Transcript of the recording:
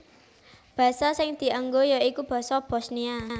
Basa sing dianggo ya iku basa Bosnia